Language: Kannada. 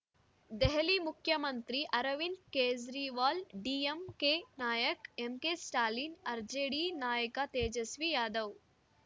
ದೆಹಲಿ ಮುಖ್ಯಮಂತ್ರಿ ಅರವಿಂದ್‌ ಕೇಜ್ರಿವಾಲ್‌ ಡಿಎಂಕೆ ನಾಯಕ ಎಂಕೆಸ್ಟಾಲಿನ್‌ ಆರ್‌ಜೆಡಿ ನಾಯಕ ತೇಜಸ್ವಿ ಯಾದವ್‌